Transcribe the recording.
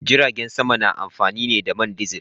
Jiragen sama na amfani ne da man dizil.